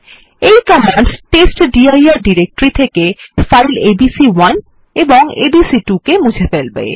এই command testdir directory থেকে file এবিসি1 এবং এবিসি2 মুছে ফেলবে